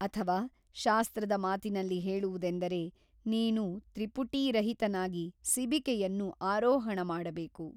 ಅಥವ ಶಾಸ್ತ್ರದ ಮಾತಿನಲ್ಲಿ ಹೇಳುವುದೆಂದರೆ ನೀನು ತ್ರಿಪುಟೀ ರಹಿತನಾಗಿ ಸಿಬಿಕೆಯನ್ನು ಆರೋಹಣ ಮಾಡಬೇಕು.